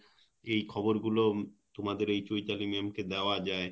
এই খবর গুলো তোমাদের এই চৈতালি ma'am কে দেওয়া যায়